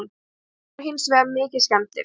Bílarnir eru hins vegar mikið skemmdir